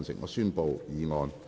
我宣布議案獲得通過。